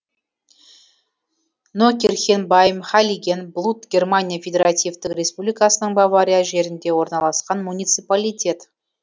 нокирхен байм хайлиген блут германия федеративтік республикасының бавария жерінде орналасқан муниципалитет